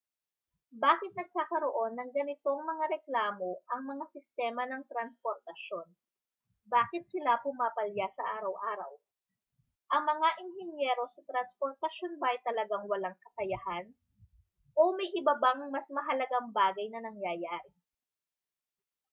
bakit nagkakaroon ng ganitong mga reklamo ang mga sistema ng transportasyon bakit sila pumapalya sa araw-araw ang mga inhinyero sa transportasyon ba ay talagang walang kakayahan o may iba bang mas mahalagang bagay na nangyayari